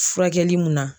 Furakɛli mun na